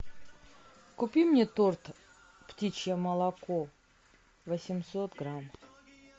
купи мне торт птичье молоко восемьсот грамм